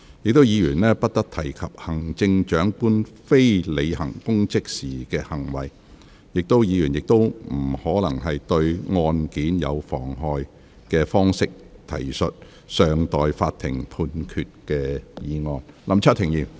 議員不得提及行政長官非履行公職時的行為，亦不得以可能對案件有妨害的方式，提述尚待法庭判決的案件。